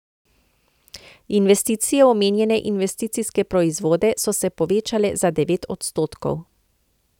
Investicije v omenjene investicijske proizvode so se povečale za devet odstotkov.